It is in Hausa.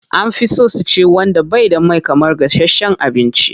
An fi so su ci wanda bai da mai sosai kamar gashasshen abinci.